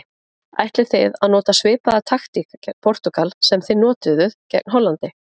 Ætlið þið að nota svipaða taktík gegn Portúgal sem þið notuðuð gegn Hollandi?